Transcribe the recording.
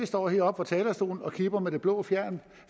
står heroppe på talerstolen og kipper med det blå flag